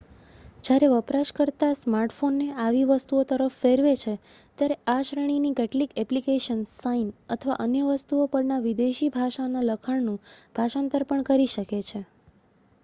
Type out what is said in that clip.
જ્યારે વપરાશકર્તા smart phone ને આવી વસ્તુઓ તરફ ફેરવે છે ત્યારે આ શ્રેણી ની કેટલીક એપ્લીકેશન્સ સાઇન અથવા અન્ય વસ્તુઓ પર ના વિદેશી ભાષાના લખાણ નું ભાષાંતર પણ કરી શકે છે